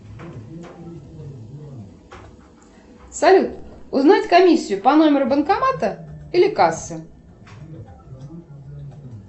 салют узнать комиссию по номеру банкомата или кассы